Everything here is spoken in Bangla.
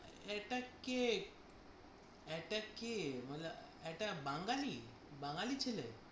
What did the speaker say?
এটা কী? এটা কী? মানে এটা বাঙালি? বাঙ্গালী ছেলে?